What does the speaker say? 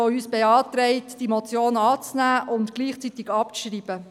Er beantragt uns, die Motion anzunehmen und gleichzeitig abzuschreiben.